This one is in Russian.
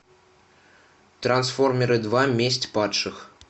трансформеры два месть падших